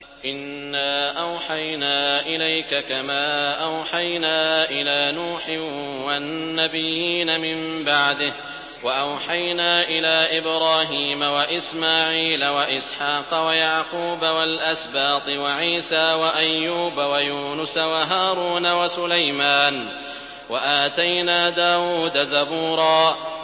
۞ إِنَّا أَوْحَيْنَا إِلَيْكَ كَمَا أَوْحَيْنَا إِلَىٰ نُوحٍ وَالنَّبِيِّينَ مِن بَعْدِهِ ۚ وَأَوْحَيْنَا إِلَىٰ إِبْرَاهِيمَ وَإِسْمَاعِيلَ وَإِسْحَاقَ وَيَعْقُوبَ وَالْأَسْبَاطِ وَعِيسَىٰ وَأَيُّوبَ وَيُونُسَ وَهَارُونَ وَسُلَيْمَانَ ۚ وَآتَيْنَا دَاوُودَ زَبُورًا